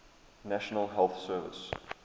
national health service